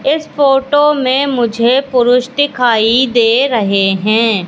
इस फोटो मे मुझे पुरुष दिखाई दे रहे हैं।